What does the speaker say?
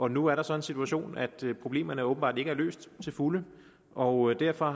nu er der så den situation at problemerne åbenbart ikke er løst til fulde og derfor